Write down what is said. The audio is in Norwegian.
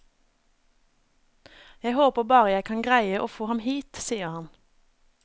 Jeg håper bare jeg kan greie å få ham hit, sier han.